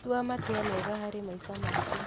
Tua matua mega harĩ maica maku.